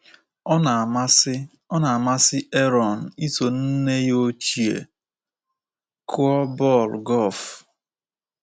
Ọ na-amasị Ọ na-amasị Aaron iso nne ya ochie kụọ bọl golf.